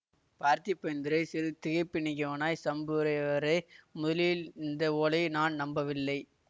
பார்த்திபேந்திரன் சிறிது திகைப்பு நீங்கியவனாய் சம்புரையவரே முதலில் இந்த ஓலையை நான் நம்பவில்லை